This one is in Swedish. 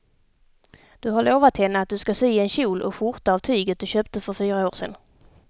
Du har lovat henne att du ska sy en kjol och skjorta av tyget du köpte för fyra år sedan.